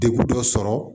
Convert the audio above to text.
Degun dɔ sɔrɔ